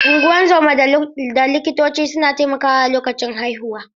Unguwan zoma da likitoci suna taimakawa a lokacin haihuwa.